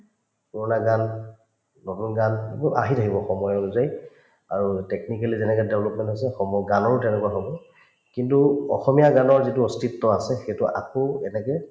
পুৰণা গান নতুন গান এইবোৰ আহি থাকিব সময় অনুযায়ী আৰু technically তেনেকে তেওঁলোক সম্ভৱ গানৰো তেনেকুৱা হব কিন্তু অসমীয়া গানৰ যিটো অস্তিত্ব আছে সেইটো আকৌ এনেকে